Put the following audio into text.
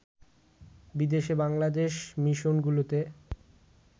বিদেশে বাংলাদেশ মিশনগুলোতে